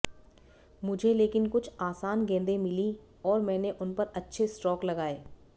मुझे लेकिन कुछ आसान गेंदें मिलीं और मैंने उन पर अच्छे स्ट्रोक लगाए